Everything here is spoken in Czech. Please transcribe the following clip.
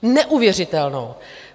Neuvěřitelnou.